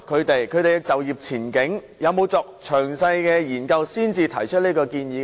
有否就他們的就業前景作詳細的研究才提出這項建議呢？